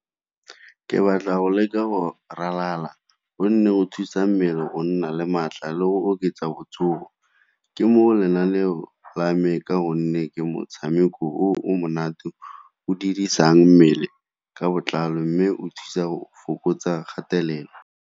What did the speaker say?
Ke batla go leka go ralala gonne go thusa mmele go nna le maatla le go oketsa botsogo. Ke mo lenaneo la me ka gonne ke motshameko o o monate o dirisang mmele ka botlalo, mme o thusa go fokotsa kgatelelo.